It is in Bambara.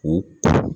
U